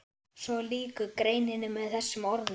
Svo lýkur greininni með þessum orðum